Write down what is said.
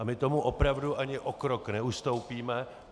A my tomu opravdu ani o krok neustoupíme.